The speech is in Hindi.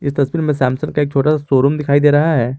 तस्वीर में सैमसंग का एक छोटा सा शोरूम दिखाई दे रहा है।